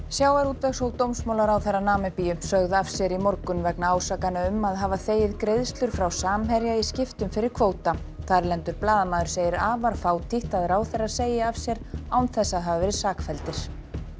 sjávarútvegs og dómsmálaráðherra Namibíu sögðu af sér í morgun vegna ásakana um að hafa þegið greiðslur frá Samherja í skiptum fyrir kvóta þarlendur blaðamaður segir afar fátítt að ráðherrar segi af sér án þess að hafa verið sakfelldir